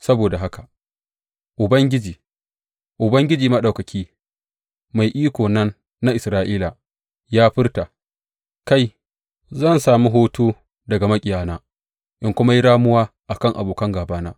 Saboda haka Ubangiji, Ubangiji Maɗaukaki, Mai Iko nan na Isra’ila, ya furta, Kai, zan sami hutu daga maƙiyana in kuma yi ramuwa a kan abokan gābana.